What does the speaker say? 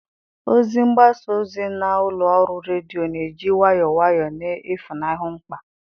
Ozi mgbasa ozi na ụlọ ọrụ redio na-eji nwayọọ nwayọọ na-efunahụ mkpa.